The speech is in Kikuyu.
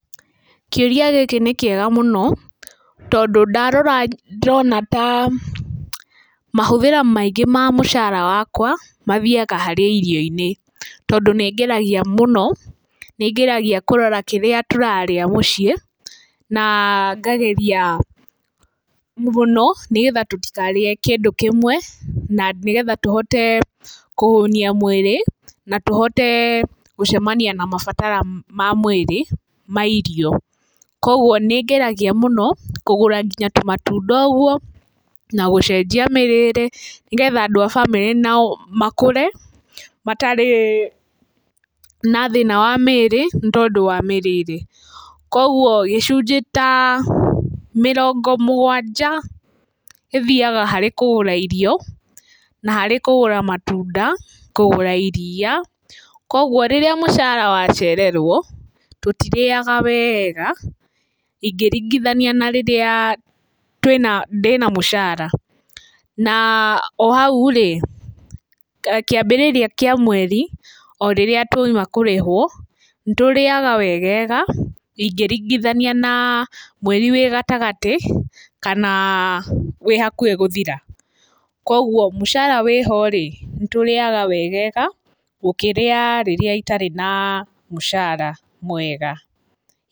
Kĩũria gĩkĩ nĩkĩega mũno, tondũ ndarora ndona ta mahũthĩra maingĩ ma mũcara wakwa mathiaga harĩ irio-inĩ. Tondu nĩngeragia mũno, nĩ ngeragia kũrora kĩrĩa tũrarĩa mũciĩ na ngageria mũno nĩgetha tũtikarĩe kĩndu kĩmwe na nĩgetha tuhote kũhũnia mwĩrĩ na tũhote gũcemania na mabatara ma mwĩrĩ ma irio. Koguo nĩ ngeraragia mũno kũgũra nginya tũ matunda ũguo na gũcenjia mĩrĩre nĩgetha andũ a bamĩrĩ nao makũre matarĩ na thĩna wa mĩrĩ nĩtondũ wa mĩrĩre. Koguo gĩcunjĩ ta mĩrongo mũgwanja gĩthiaga harĩ kũgũra irio na harĩ kũgũra matunda, kũgũra iria, koguo rĩrĩa mũcara wa cererũo tũtirĩaga wega ingĩringithania na rĩrĩa twĩna, ndĩna mũcara, na o hau rĩ, kĩambĩrĩria kĩa mweri orĩrĩa tuoima kũrĩhũo nĩ tũrĩaga wegega ingĩringithania na mweri wĩ gatagatĩ kana wĩhakuhĩ gũthira. Koguo mũcara wĩho-rĩ, nĩ tũrĩaga wegega gũkĩra rĩrĩa itarĩ na mũcara mwega.